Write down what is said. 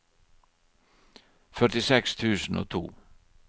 førtiseks tusen og to